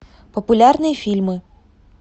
популярные фильмы